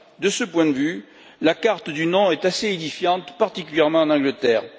De ce point de vue, la carte du non est assez édifiante, particulièrement en Angleterre.